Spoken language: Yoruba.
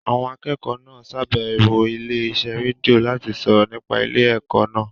Àwọn akẹ́kọ̀ọ́ náà ṣàbẹ̀wọ̀ ilé iṣẹ́ rédíò láti sọ̀rọ̀ nípa ilé ẹ̀kọ́ náà